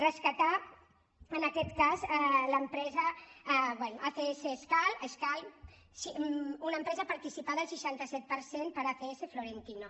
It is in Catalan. rescatar en aquest cas l’empresa acs escal una empresa participada al seixanta set per cent per acs florentino